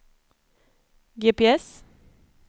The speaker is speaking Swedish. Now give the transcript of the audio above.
GPS